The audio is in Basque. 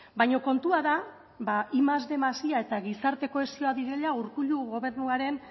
baina kontua da ba batgarren más bostehun más i a eta gizarte kohesioa direla urkullu gobernuaren